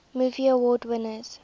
movie award winners